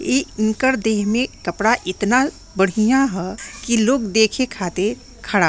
इ इनकर देह में कपड़ा इतना बढ़िया ह कि लोग देखे खातिर खड़ा हई।